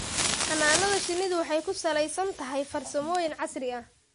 Xannaanada shinnidu waxay ku salaysan tahay farsamooyin casri ah.